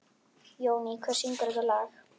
Jóný, hver syngur þetta lag?